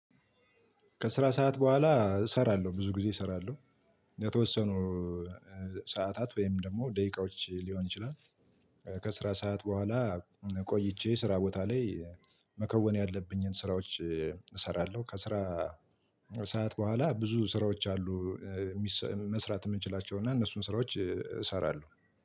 ከስራ ሰዓት በኋላ እሰራለሁ ብዙ ጊዜ እሰራለሁ። የተወሰኑ ሰዓታት ወይም ደግሞ ደቂቃዎች ሊሆን ይችላል። ከስራ ሰዓት በኋላ ቆይቼ ስራ ቦታ ላይ መከወን ያለብኝን ስራዎች እሰራለሁ። ከስራ ሰዓት በኋላ ብዙ ስራዎች አሉ። መስራት የምንችላቸው እና እነሱን ስራዎች እሰራለሁ